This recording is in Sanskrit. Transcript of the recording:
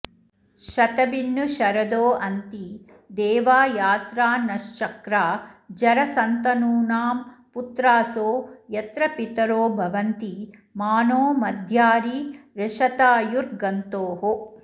शतमिन्नु शरदो अन्ति देवा यात्रानश्चक्रा जरसन्तनूनाम् पुत्रासो यत्र पितरो भवन्ति मानो मद्यारी रिषतायुर्गन्तोः